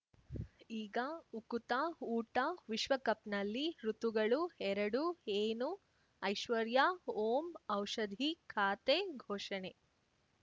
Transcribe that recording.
ಈಗ ಉಕುತ ಊಟ ವಿಶ್ವಕಪ್‌ನಲ್ಲಿ ಋತುಗಳು ಎರಡು ಏನು ಐಶ್ವರ್ಯಾ ಓಂ ಔಷಧಿ ಖಾತೆ ಘೋಷಣೆ